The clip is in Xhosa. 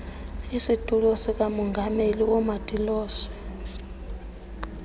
isitulo sikamongameli woomatiloshe